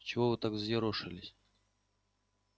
чего вы так взъерошились